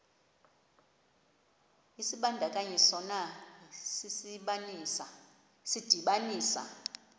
isibandakanyi sona sidibanisa